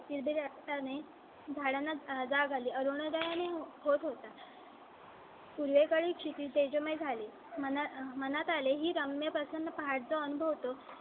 असताना ही झाडांना जाग आली. अरुणोदय होत होता . खुले गाडी ची तेजोमय झाली. मला मनात आले ही रांग णा पासून पहाट जो अनुभव तो